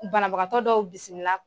Banabagatɔ dɔw bisimila